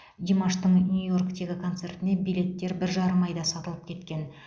димаштың нью йорктегі концертіне билеттер бір жарым айда сатылып кеткен